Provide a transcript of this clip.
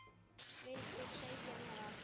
Vildi segja mér allt.